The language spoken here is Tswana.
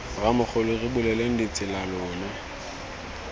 rramogola re buleleng ditsela lona